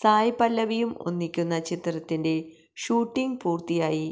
സായ് പല്ലവിയും ഒന്നിക്കുന്ന ചിത്രത്തിന്റെ ഷൂട്ടിംങ് പൂര്ത്തിയായി